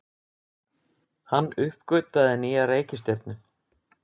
Hann uppgötvaði nýja reikistjörnu!